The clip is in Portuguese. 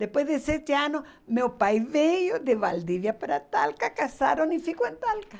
Depois de sete anos, meu pai veio de Valdívia para Talca, casaram e ficaram em Talca.